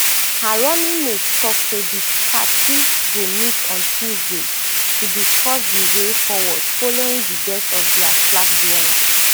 her running mate tok say di party go meet on tuesday to discuss di way forward following di death of dia flag bearer